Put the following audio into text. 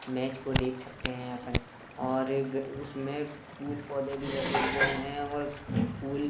match को देख सकते हैं अपन और एक उसमें फूल-पौधे भी लगे हुए हैं और फूल --